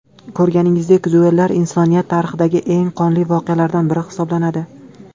Ko‘rganingizdek, duellar insoniyat tarixidagi eng qonli voqealardan biri hisoblanadi.